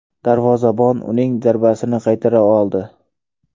Darvozabon uning zarbasini qaytara oldi.